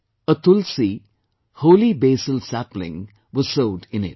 A tulsi, Holy Basil, sapling was sowed in it